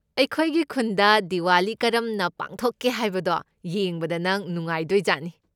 ꯑꯩꯈꯣꯏꯒꯤ ꯈꯨꯟꯗ ꯗꯤꯋꯥꯂꯤ ꯀꯔꯝꯅ ꯄꯥꯡꯊꯣꯛꯀꯦ ꯍꯥꯏꯕꯗꯣ ꯌꯦꯡꯕꯗ ꯅꯪ ꯅꯨꯡꯉꯥꯏꯗꯣꯏꯖꯥꯠꯅꯤ꯫